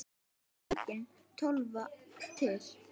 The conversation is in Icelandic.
Þá var engin Tólfa til!